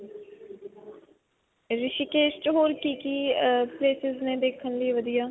ਰਿਸ਼ੀਕੇਸ ਚ ਹੋਰ ਕਿ-ਕਿ ਅਅ places ਨੇ ਦੇਖਣ ਲਈ ਵਧੀਆ?